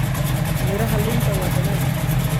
Miraha liinta waa dhanaan.